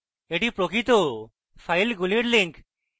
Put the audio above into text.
এটি প্রকৃত ফাইলগুলির links